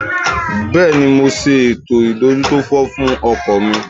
Bẹ́ẹ̀ni, mo ṣe ètò ìdójútòfò fún ọkọ̀ mi